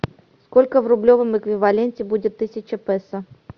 сколько в рублевом эквиваленте будет тысяча песо